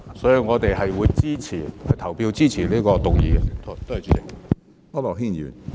所以，我們會表決支持這項修正案，多謝主席。